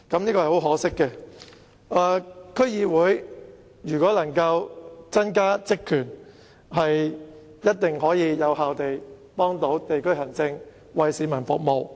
如果區議會能夠增加職權，一定可以更有效地幫助地區行政，為市民服務。